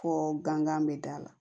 Fɔ gankan bɛ da la